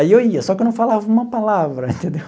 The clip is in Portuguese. Aí eu ia, só que eu não falava uma palavra, entendeu?